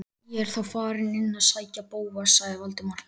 Ég er þá farinn inn að sækja Bóas- sagði Valdimar.